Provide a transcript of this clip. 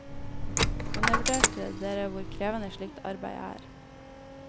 Undervurderte dere hvor krevende slikt arbeid er?